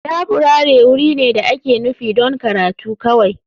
Laburare wuri ne da ake nufi don karatu kawai.